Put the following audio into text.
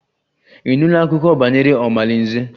Ị nụla akụkọ banyere omalinze?